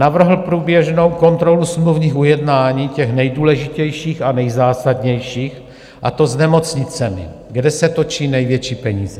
Navrhl průběžnou kontrolu smluvních ujednání, těch nejdůležitějších a nejzásadnějších, a to s nemocnicemi, kde se točí největší peníze.